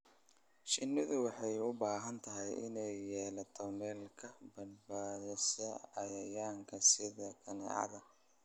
Shinnidu waxay u baahan tahay inay yeelato meelo ka badbaadsan cayayaanka sida kaneecada.